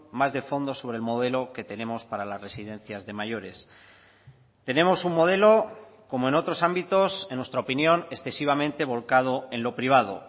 más de fondo sobre el modelo que tenemos para las residencias de mayores tenemos un modelo como en otros ámbitos en nuestra opinión excesivamente volcado en lo privado